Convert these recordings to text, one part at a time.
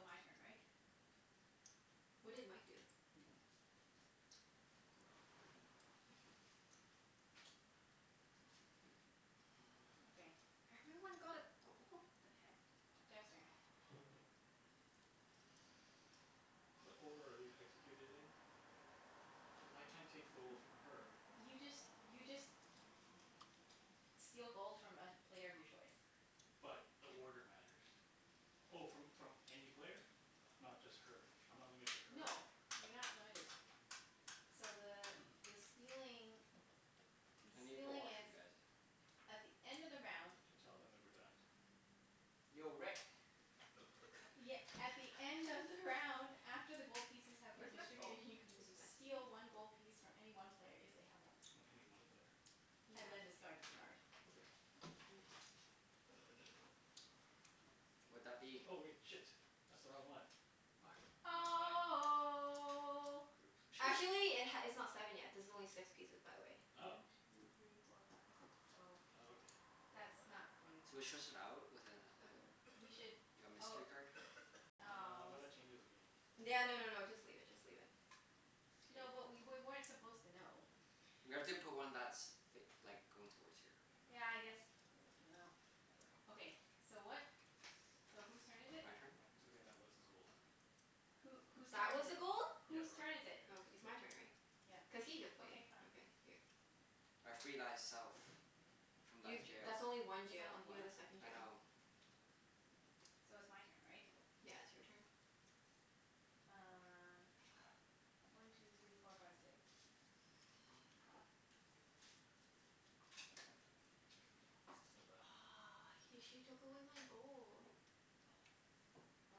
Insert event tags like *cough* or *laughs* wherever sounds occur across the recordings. my turn, right? What did Mike do? *noise* Okay. Everyone got a gold? The heck? Jeff's turn. What order are these executed in? *noise* *noise* Cuz I can't take gold N- from her. *noise* you just, you just *noise* steal gold from a player of your choice. But, the order matters. Oh, from from any player? Not just her? I'm not limited to her? No. You're not limited. So the *noise* the stealing *noise* the I need the stealing is washroom, guys. at the end of the round Should tell them that we're done. Yo, Rick. *noise* Ye- at the end of the round *laughs* after the gold *laughs* pieces have been Where's my phone? distributed, you can Did he d- message me? steal one gold piece from any one player if they have one. O- any one player. Yeah. And then Okay. discard this card. Okay. All right. Finish it then. *noise* Would that be Oh *noise* wait. Shit. That's the wrong one. Fuck. Never mind. Oh. Oops. Should we Actually it h- it's not seven yet. This is only six pieces, by the way. Oh. One two three four five six, oh. Oh, okay. That's not good. Should we swish out with a like Or We should a oh mystery card? Uh, oh but s- that changes the game. No no no no, just leave it. Just leave it. No, but K. we wer- *noise* weren't supposed to know. We have to put one that's f- like, going towards here, you know? Yeah, I guess, no, whatever. Okay, so what? So whose turn is it? My turn? It's okay, that was the gold. Who, whose That turn was is a it? gold? Yeah, Whose the right turn one. is It it? Okay. is, It's so my turn, right? Yeah. Cuz he just played. Okay, fine. Okay, here. *noise* I free thyself. From thy You, jail. that's only one That's jail. only You have a one. second I jail. know. So it's my turn, right? Yeah, it's your turn. Um One two three four five six. What's that? Aw, he, she took away my gold. Oh.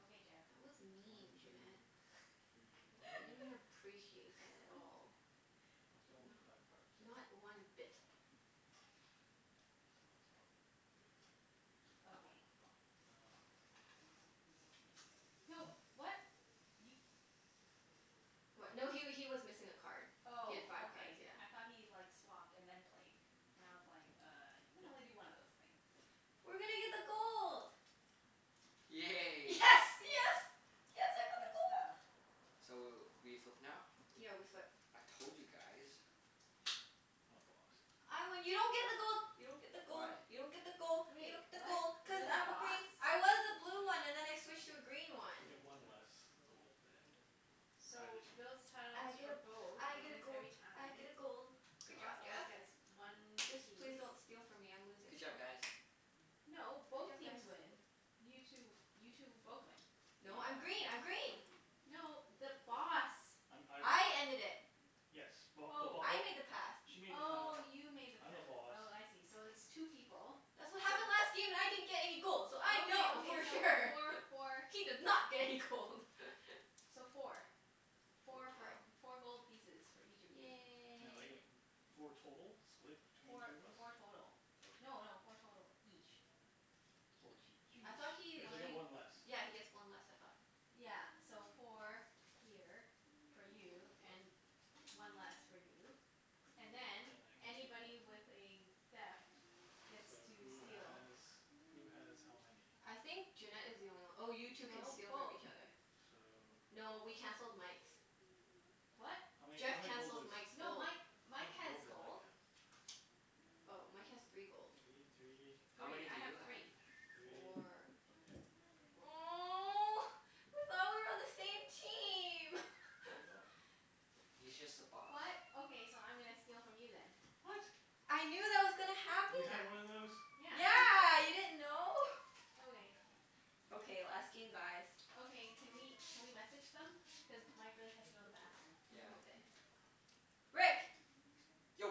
Okay, Jeff. That was mean, One two Junette. three, why I didn't don't I appreciate that at all. I *laughs* still only need five Not cards. not one I don't bit. know why. Well, well that's not very useful. Okay. Okay. Um No, *noise* what? You What? What? No he wa- he was missing a card. He had Oh, five *noise* cards. okay. Yeah. I thought he like, swapped and then played. And I was like, "Uh, you can only No. do one of those things." We're gonna get the gold. Yes, Yay. Oh, yes! yay. Yes, I got the Good gold! stuff. So w- we flip now? Yeah, we flip. I told you guys. I'm a Boss. I win. You don't get the gold! You don't get the gold! Why? You don't get the gold! You Wait, don't get the gold! what? I'm Cuz the You're the I'm a Boss? Boss. green. I was a blue Yeah. one and then I switched to a green one. I get one less gold than either So, builds team. tiles I get for a, both I and get a wins gold. every I get time. a gold. The Good job, Boss always Jeff. gets one Just please piece. don't steal from me. I'm *noise* losing Good job, still. guys. No, Good both job, teams guys. win. You two, you two both win. No, I'm Yeah. green. I'm green! No, the Boss. I'm, I win. I ended it. Yes. Well, the Bo- Oh. I oh made the pass. She made the path, Oh, you made the I'm the pass. Boss. Oh, I see. So it's two people. That's what So happened last game and I didn't get any gold so I Okay, know okay, for so sure! four *laughs* for She did not get any gold! *laughs* So four. Four Four gold. for, Oh. four gold pieces for each of you. *noise* Now I Yay. get w- four total? Split between Four, two of us? four total. Okay. No no, four total each. Four Each. each. I thought Each. he Cuz I get he One one less. Yeah, he gets one less, I thought? Yeah, so four here, for you, and one less for you. And And then, then I can take one. anybody with a theft gets So, to who steal. has who has how many? I think Junette is the only one. Oh, you two can No, steal from both. each other. So No, we canceled Mike's. What? How many, Jeff how many gold cancelled does Mike's No, gold. Mike, How Mike much has gold does Mike gold. have? Oh, Mike has three gold. Three, *noise* three How many Three. do I have you have? three. three. Four Okay, yoink. *noise* Oh. I thought we were on the same team! We *laughs* are. He's just the boss. *noise* What? Okay, so I'm gonna steal from you then. What? I knew that was gonna You had happen. one of those? Yeah. Yeah, you didn't know? God Okay. damn it. Okay, last game, guys. Okay. Can we can we message them? Cuz Mike really has to go to the bathroom. Mm, Yeah. ok-